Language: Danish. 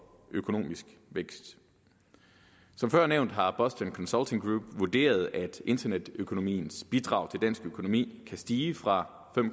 økonomisk vækst som før nævnt har boston consulting group vurderet at internetøkonomiens bidrag til dansk økonomi kan stige fra